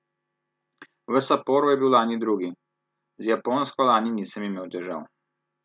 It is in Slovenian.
V Saporu je bil lani drugi: "Z Japonsko lani nisem imel težav.